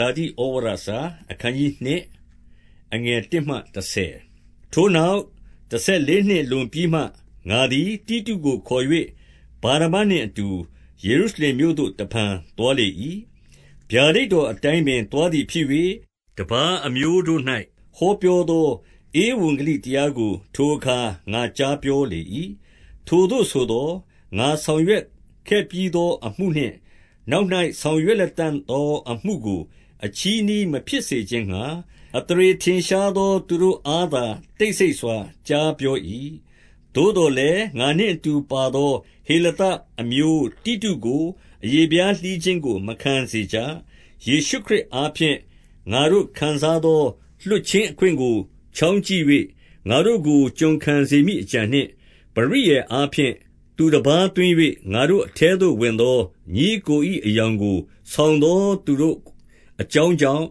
လာတိ​ဩဝါဒစာ။ အခနျး 2 အခနျး ၂ ထိုနောက်တဆယ်လေးနှစ်လွန်ပြီးမှ၊ ငါသည် တိတုကိုခေါ်၍ ဗာနဗနှင့်အတူ ယေရုရှင်မြို့သို့ တဖန် သွားလေ၏။ 2 ဗျာဒိတ်တော်အတိုင်းပင်သွားသည်ဖြစ်၍၊ တပါးအမျိုးတို့၌ ဟောပြောသော ဧဝံဂေလိတရားကို ထိုအခါငါကြားပြောလေ၏။ ထိုသို့ဆိုသော် ငါဆောင်ရွက် ခဲ့ပြီးသောအမှုနှင့် နောက်၌ ဆောင်ရွက် လတံ့သော အမှုကို အချည်းနှီးမဖြစ်စေခြင်းငှါ၊ အသရေ ထင်ရှားသော သူတို့အားသာ တိတ်ဆိတ်စွာကြားပြော၏။ 3 သို့သော်လည်း ငါနှင့်အတူပါသော ဟေလသ အမျိုးတို့ကို အရေဖျားလှီးခြင်းကို မခံစေကြ။ 4 ယေရှုခရစ်အားဖြင့် ငါတို့ခံစားသော လွှတ်ခြင်းအခွင့်ကိုချောင်းကြည့်၍ ငါတို့ကို ကျွန်ခံစေမည် အကြံနှင့်၊ ပရိယာယ်အားဖြင့်သူတပါးသွင်း၍ ငါတို့အထဲသို့ဝင်သော ညီအစ်ကို၏အယောင်ကိုဆောင်သော သူတို့ အကြောင်းကြောင့်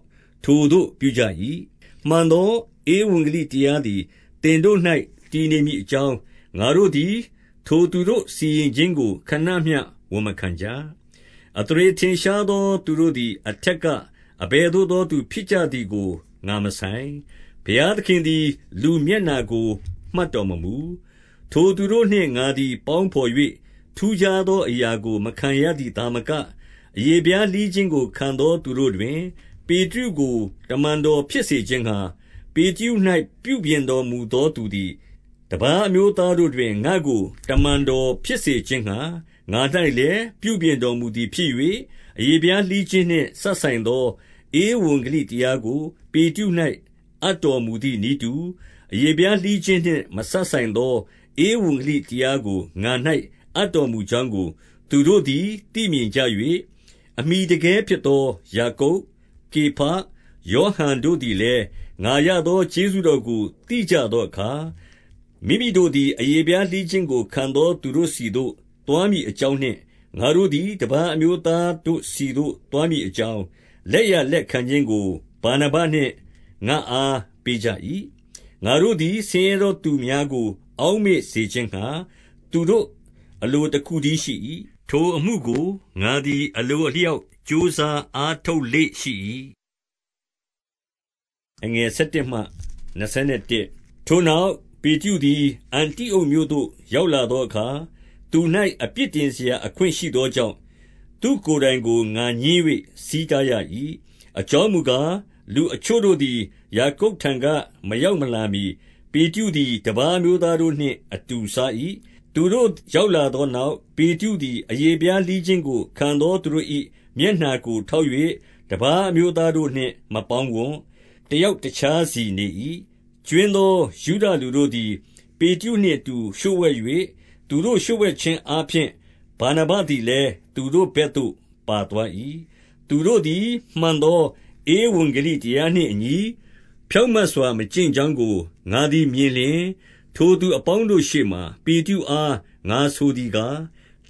ထိုသို့ပြုကြ၏။ 5 မှန်သောဧဝံဂေလိတရားသည် သင်တို့၌ တည်နေမည်အကြောင်း၊ ငါတို့သည်သူတို့စီရင်ခြင်းကို ခဏမျှ ဝန်မခံကြ။ 6 အသရေထင်ရှားသောသူတို့သည် အထက်က အဘယ်သို့သော ဖြစ်ကြသည်ကိုငါမဆိုင်။ ဘုရားသခင် သည် လူမျက်နှာကို မှတ်တော်မမူ။ ထိုသူနှင့် ငါသည် ပေါင်းဘော်၍ ထူးခြားသောအရာကိုမခံရသည်သာမက၊ 7 အရေဖျားလှီးခြင်းကိုခံရသောသူတို့တွင် ပေတရုကို တမန်တော်ဖြစ်စေခြင်းငှာ၊ 8 ပေတရု၌ပြုပြင်တော်မူသောသူသည်၊ တပါးအမျိုးသားတို့တွင် ငါ့ကိုတမန်တော်ဖြစ်စေခြင်းငှါ ငါ၌ လည်း ပြုပြင်တော်မူသည်ဖြစ်၍၊ အရေဖျားလှီးခြင်းနှင့် မစပ်ဆိုင်သော ဧဝံဂေလိတရားကို ပေတရု၌ အပ်တော် မူသည် နည်းတူ၊ အရေဖျားလှီးခြင်းနှင့်မစပ်ဆိုင်သော ဧဝံဂေလိတရားကိုငါ၌ အပ်တော်မူကြောင်းကို သူတို့ သည် သိမြင်ကြ၏။ 9 အမှီတကဲဖြစ်သောယာကုပ်၊ ကေဖ၊ ယောဟန် တို့သည်လည်း၊ ငါရသောကျေးဇူးတော်ကို သိကြသော အခါ၊ မိမိတို့သည် အရေဖျားလှီးခြင်းကိုခံရသော သူတို့ ဆီသို့ သွားမည်အကြောင်းနှင့်၊ ငါတို့သည်တပါးအမျိုး သားတို့ဆီသို့သွားမည်အကြောင်း၊ လက်ျာလက်ခံခြင်းကို ဗာနဗနှင့်ငါ့အား ပေးကြ၏။ 10 ငါတို့သည်ဆင်းရဲသောသူများကို အောက်မေ့စေခြင်းငှါ သူတို့အလိုတခုတည်းရှိ၏။ ထိုအမှုကို ငါသည်အလိုအလျောက်ကြိုးစားအားထုတ်လေ့ရှိ၏။ 11 ထိုနောက်ပေတရုသည် အန္တိအုတ်မြို့သို့ ရောက်လာသောအခါ၊ သူ၌အပြစ်တင်စရာ အခွင့်ရှိသော ကြောင့် သူ့ကိုယ်တိုင်ကို ငါငြင်း၍ ဆီးတားရ၏။ 12 အကြောင်းမူကား၊ လူအချို့သည် ယာကုပ်ထံမှ မရောက်မလာမှီ၊ ပေတရုသည် တပါးအမျိုးသားတို့နှင့် အတူစား၏။ သူတို့ရောက်လာသောနောက်၊ ပေတရုသည် အရေဖျားလှီးခြင်းကို ခံရသောသူတို့၏မျက်နှာကို ထောက်၍ တပါးအမျိုးသားတို့နှင့်မပေါင်းဝံ့။ တယောက်တခြားစီနေ၏။ 13 ကြွင်းသောယုဒလူတို့သည် ပေတရုနှင့်အတူ လျှို့ဝှက်၍၊ သူတို့ လျှို့ဝှက်ခြင်းအားဖြင့် ဗာနဗသည် လည်း သူတို့ဘက်သို့ပါသွား၏။ 14 သူတို့သည်မှန်သော ဧဝံဂေလိတရားနှင့်အညီ ဖြောင့်မတ်စွာ ကျင့်ကြောင်းကိုငါသည်မြင်လျှင်၊ ထိုသူ အပေါင်းတို့ရှေ့မှာ ပေတရုအား ငါဆိုသည်ကား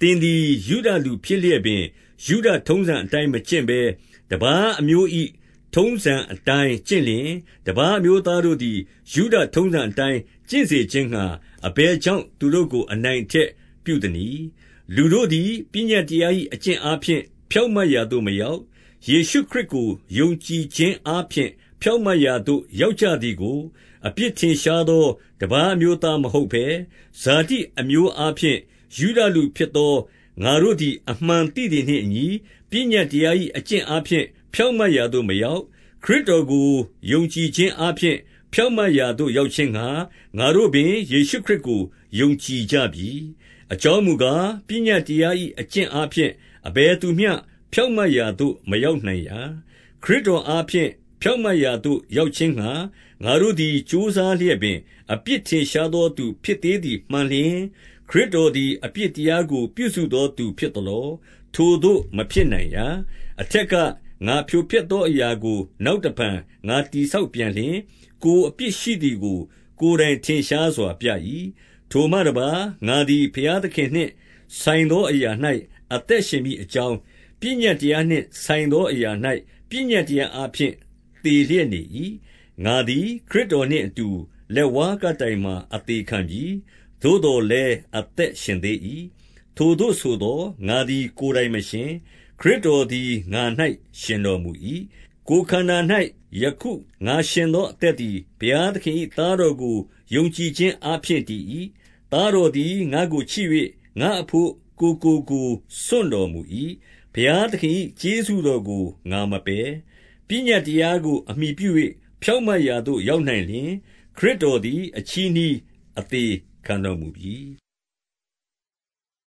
၊ သင်သည် ယုဒလူဖြစ်လျက်ပင် ယုဒထုံးစံအတိုင်းအကျင့်ဘဲ၊ တပါးအမျိုး၏ထုံးစံအတိုင်းကျင့်လျှင်၊ တပါးအမျိုးသားတို့သည် ယုဒထုံးစံအတိုင်းကျင့်စေခြင်းငှါ အဘယ်ကြောင့် သူတို့ကို အနိုင်အထက်ပြုသနည်း။ 15 လူတို့သည် ပညတ်တရား၏အကျင့်အားဖြင့် ဖြောင့်မတ်ရာသို့ မရောက်၊ 16 ယေရုခရစ်ကိုယုံကြည်ခြင်းအားဖြင့် ဖြောင့်မတ်ရာသို့ရောက်ကြသည်ကို၊ အပြစ်ထင်ရှားသော တပါး အမျိုးသားမဟုတ်ဘဲ၊ ဇာတိအမျိုးအားဖြင့် ယုဒလူဖြစ်သောငါတို့သည် အမှန်သိသည်နှင့်အညီ ပညတ်တရား၏ အကျင့်အားဖြင့် ဖြောင့်မတ်ရာသို့မရောက်၊ ခရစ်တော်ကိုယုံကြည်ခြင်းအားဖြင့် ဖြောင့်မတ်ရာသို့ ရောက်ခြင်းငှါ၊ ငါတို့ပင် ယေရှုခရစ်ကိုယုံကြည်ကြပြီ။ အကြောင်းမူကား၊ ပညတ်တရား၏ အကျင့်အားဖြင့် အဘယ်သူမျှ ဖြောင့်မတ်ရာသို့ မရောက်နိုင်ရာ။ 17 ခရစ်တော်အားဖြင့် ဖြောင့်မတ်ရာသို့ ရောက်ခြင်းငှာ ငါတို့သည် ကြိုးစားလျက်ပင်၊ အပြစ် ထင်ရှား သောသူဖြစ်သေးသည်မှန်လျှင်၊ ခရစ်တော်သည် အပြစ်တရားကို ပြုစုသောသူဖြစ်သလော။ 18 ထိုသို့မဖြစ်နိုင်ရာ။ အထက်က ငါဖြိုဖျက်သော အရာကို နောက်တဖန်ငါတည်ဆောက်ပြန်လျှင်၊ ကိုယ် အပြစ်ရှိသည်ကိုထင်ရှားစွာပြ၏။ 19 ထိုမှတပါး၊ ငါသည်ဘုရားသခင်နှင့် ဆိုင်သောအရာ၌ အသက်ရှင်မည်အကြောင်း၊ ပညတ်တရားနှင့် ဆိုင်သောအရာ၌ ပညတ်တရားအားဖြင့် သေလျက်နေ၏။ 20 ငါသည်ခရစ်တော်နှင့်အတူ လက်ဝါးကပ်တိုင်မှာ အသေခံပြီ။ သို့သော်လည်းအသက်ရှင်သေး၏။ ထိုသို့ဆိုသော် ငါသည် ကိုယ်တိုင်မရှင်၊ ခရစ်တော်သည် ငါ၌ ရှင်တော်မူ၏။ ကိုယ်ခန္ဓာ၌ယခုငါရှင်သော အသက်သည် ဘုရားသခင်၏သားတော်ကို ယုံကြည်ခြင်းအားဖြင့်တည်၏။ သားတော်သည်ငါ့ကိုချစ်၍ ငါ့အဘို့ ကိုယ်ကို ကိုယ်စွန့်တော်မူ၏။ 21 ဘုရားသခင်၏ကျေးဇေူးတော်ကိုငါမပယ်။ ပညတ်တရားကိုအမှီပြု၍ ဖြောင့်မတ်ရာသို့ ရောက်နိုင် လျှင် ခရစ်တော်သည်အချည်းနှီး အသေခံတော်မူပြီ။